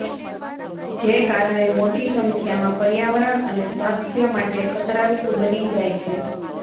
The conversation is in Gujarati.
જે કારણે મોટી સંખ્યામાં પર્યાવરણ અને સ્વાસ્થ્ય માટે ખતરારૂપ બની જાય છે